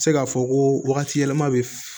Se k'a fɔ ko wagati yɛlɛma bɛ